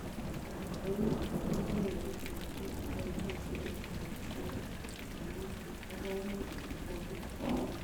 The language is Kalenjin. Eng notok ,komii kericheek chekepaisie sikoterter mionotok ak kaimutik chegonuu.